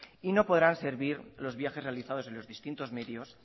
y no podrán servir los viajes realizados en los distintos medios